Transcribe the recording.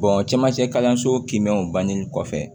cɛmancɛ kalanso kiinmɛw bannen kɔfɛ